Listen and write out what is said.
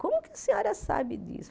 Como que a senhora sabe disso?